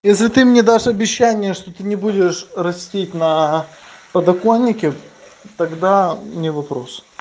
если ты мне дашь обещание что ты не будешь растить на подоконнике тогда не вопрос